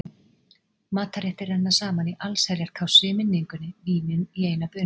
Matarréttir renna saman í allsherjar kássu í minningunni, vínin í eina bunu.